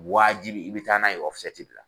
Waajibi i bɛ taa n'a ye o de la.